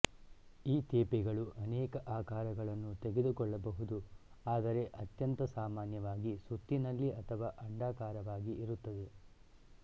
ಈ ತೇಪೆಗಳು ಅನೇಕ ಆಕಾರಗಳನ್ನು ತೆಗೆದುಕೊಳ್ಳಬಹುದು ಆದರೆ ಅತ್ಯಂತ ಸಾಮಾನ್ಯವಾಗಿ ಸುತ್ತಿನಲ್ಲಿ ಅಥವಾ ಅಂಡಾಕಾರವಾಗಿ ಇರುತ್ತದೆ